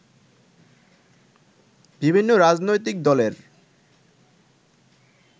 বিভিন্ন রাজনৈতিক দলের